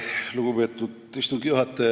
Lugupeetud istungi juhataja!